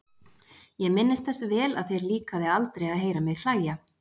Ég minnist þess vel að þér líkaði aldrei að heyra mig hlæja.